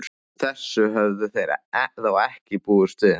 Þessu höfðu þeir þó ekki búist við.